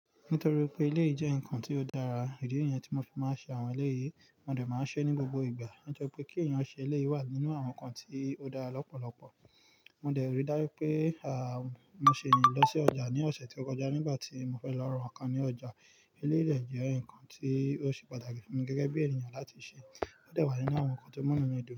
Nítorí pé eléyíí jẹ́ nǹkan tí ó dára, ìdí nìyan tí mo fi máa ṣe àwọn ilé yìí, mo dẹ̀ máa ṣe é ní gbogbo ìgbà. Ó jọ pé kí ènìyàn ṣe ilé wà nínú àwọn nǹkan tí ó dára lọ́pọ̀lọpọ̀. Mo dẹ̀ rí dájú pé, à, mo ṣe ìrìn lọ sí ọjà ní ọ̀sẹ̀ tí ó kọjá nígbà tí mo fẹ́ lọ ra nǹkan ní ọjà. Ilé lè jẹ́ nǹkan tí ó ṣe pàtàkì fún gẹ́gẹ́ bí ènìyàn láti ṣe. Ó dẹ̀ wà nínú àwọn nǹkan tí ó múnú ni ìdìbò.